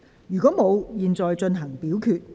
如果沒有，現在進行表決。